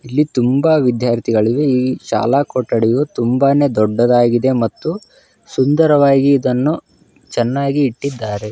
ತುಂಬಾ ವಿದ್ಯಾರ್ಥಿಗಳಿದ್ದಾರೆ ಶಾಲಾಕೊಠಡಿಯು ತುಂಬಾ ದೊಡ್ಡದಾಗಿದೆ. ಸುಂದರವಾಗಿ ಇದನ್ನು ಚೆನ್ನಾಗಿ ಇಟ್ಟಿದ್ದಾರೆ.